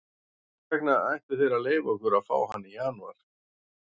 Hvers vegna ættu þeir að leyfa okkur að fá hann í janúar?